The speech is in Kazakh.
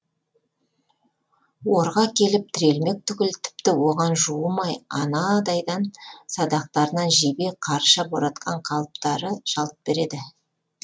орға келіп тірелмек түгіл тіпті оған жуымай анандайдан садақтарынан жебе қарша боратқан қалыптары жалт береді